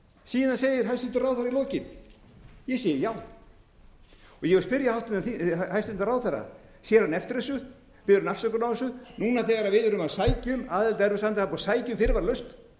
síðan segir hæstvirtur ráðherra í lokin ég segi já ég vil spyrja hæstvirtan ráðherra sér hún eftir þessu biður hún afsökunar á þessu núna þegar við erum að sækja um aðild að evrópusambandinu það er búið að sækja um fyrirvaralaust